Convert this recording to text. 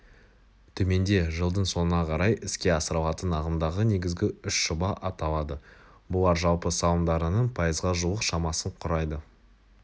төменде жылдың соңына қарай іске асырылатын ағымдағы негізгі үш жоба аталады бұлар жалпы салымдарының пайызға жуық шамасын құрайды